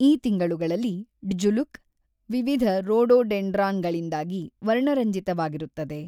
ಈ ತಿಂಗಳುಗಳಲ್ಲಿ ಡ್ಜುಲುಕ್, ವಿವಿಧ ರೋಡೋಡೆಂಡ್ರಾನ್‌ಗಳಿಂದಾಗಿ ವರ್ಣರಂಜಿತವಾಗಿರುತ್ತದೆ.